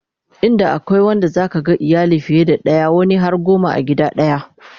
inda akwai Wanda zaka ga iyali fiye da daya wani har goma a gida daya